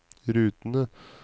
rutene